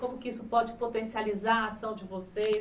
Como que isso pode potencializar a ação de vocês?